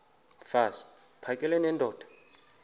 mfaz uphakele nendoda